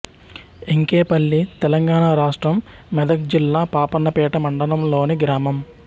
ఎంకేపల్లి తెలంగాణ రాష్ట్రం మెదక్ జిల్లా పాపన్నపేట మండలంలోని గ్రామం